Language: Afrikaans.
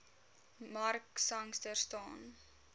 mark sangster staan